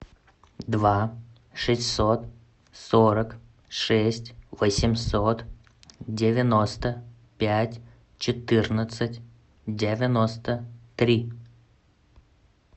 два шестьсот сорок шесть восемьсот девяносто пять четырнадцать девяносто три